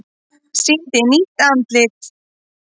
Sýndi nýtt andlit